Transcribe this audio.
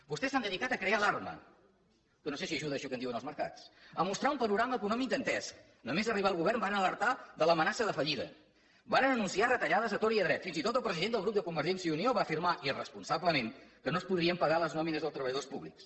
vostès s’han dedicat a crear alarma que no sé si ajuda a això que en diuen els mercats a mostrar un panorama econòmic dantesc només arribar al govern varen alertar de l’amenaça de fallida varen anunciar retallades a tort i a dret fins i tot el president del grup de convergència i unió va afirmar irresponsablement que no es podrien pagar les nòmines dels treballadors públics